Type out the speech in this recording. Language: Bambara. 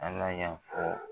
ALA y'a fɔ .